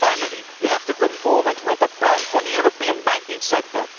Finally, we have to come forward with a plan for the European banking sector.